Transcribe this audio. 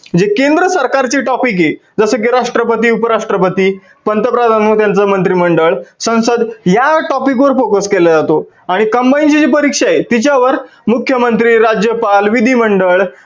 जे केंद्र सरकार चे topic आहे जसं कि राष्ट्रपती उप राष्ट्रपती पंत प्रधान व त्यांचे मंत्री मंडळ संसद या topic वर focus केला जातो. आणि combine ची जी परीक्षा आहे तिच्यावर मुख्यमंत्री, राज्यपाल, विधी मंडळ